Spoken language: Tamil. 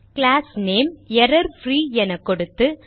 கிளாஸ் நேம் எரர்ஃப்ரீ என கொடுத்து